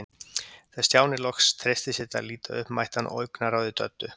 Þegar Stjáni loks treysti sér til að líta upp mætti hann augnaráði Döddu.